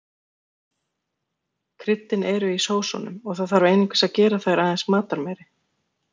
Kryddin eru í sósunum og það þarf einungis að gera þær aðeins matarmeiri.